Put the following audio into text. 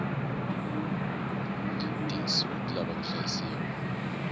tinsu ti lava ku hlayisiwa